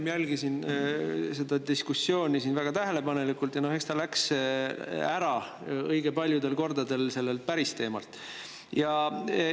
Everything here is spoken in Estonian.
Ma jälgisin siin seda diskussiooni väga tähelepanelikult ja eks ta läks õige paljudel kordadel sellelt päris teemalt ära.